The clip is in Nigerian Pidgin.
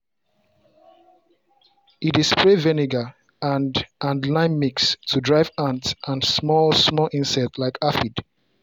e dey spray vinegar and and lime mix to drive ant and small-small insect like aphid